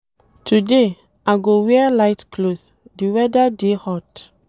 Today, I go wear light cloth, di weda dey hot.